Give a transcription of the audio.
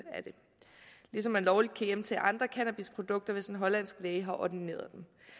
ligesom man lovligt kan hjemtage andre cannabisprodukter hvis en hollandsk læge har ordineret